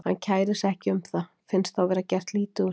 Hann kærir sig ekki um það, finnst þá vera gert lítið úr sér.